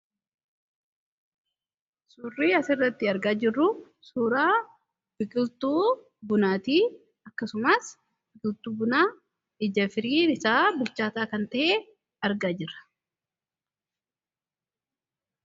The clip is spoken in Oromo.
Suurri asirratti argaa jirru suuraa biqiltuu bunaati. Akkasumas biqiltuu bunaa ija firiin isaa bilchaataa kan ta'e argaa jirra.